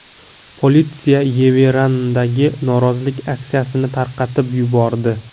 Politsiya Yerevandagi norozilik aksiyasini tarqatib yubordi.